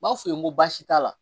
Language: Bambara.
N b'a f'u ye n ko baasi t'a la